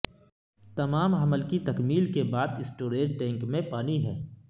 تمام عمل کی تکمیل کے بعد اسٹوریج ٹینک میں پانی ہے